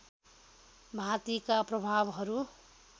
भाँतिका प्रभावहरू